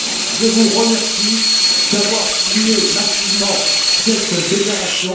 Je vous remercie d'avoir signé massivement cette déclaration.